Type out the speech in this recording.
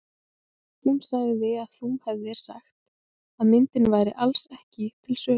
Hún sagði að þú hefðir sagt að myndin væri alls ekki til sölu.